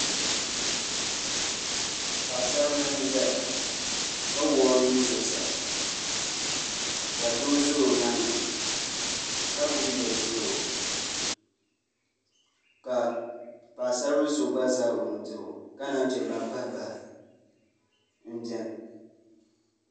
Paɣasaribili n ʒɛya ka wuɣi o nuu zuɣusaa ka doo ʒɛ o nyaanga ka gbubi yɛduɣurigu ka paɣasaribili so gba ʒɛ o nudirigu ka naan chɛ ban pahi pahi n biɛni